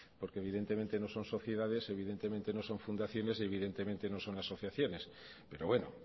porque evidentemente no son sociedades evidentemente no son fundaciones y evidentemente no son asociaciones pero bueno